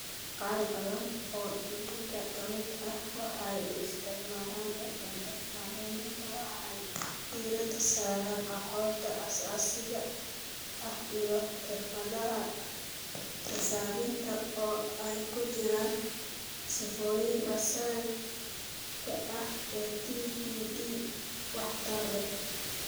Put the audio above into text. Qaar badan oo iyaga ka mid ah waxay u isticmaalaan LMS macallimiinta, waxay diiradda saaraan aqoonta aasaasiga ah iyo xirfadaha xisaabinta, oo ay ku jiraan sifooyinka asaasiga ah ee TPD waxtar leh.